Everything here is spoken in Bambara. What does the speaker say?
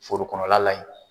Foro kɔnɔla yen.